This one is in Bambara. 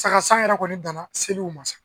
Saga san yɛrɛ kɔni dan na seliw ma